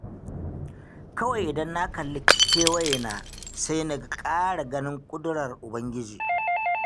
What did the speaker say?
Kawai idan na kalli kewayena, sai na ƙara ganin ƙudurar Ubangiji